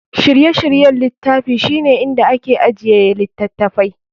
Shirye-shiryen littafi shine inda ake ajiye littattafai.